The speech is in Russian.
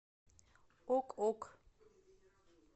ок ок